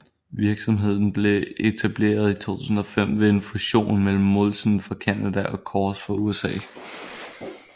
Virksomheden blev etableret i 2005 ved en fusion mellem Molson fra Canada og Coors fra USA